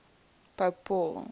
pope paul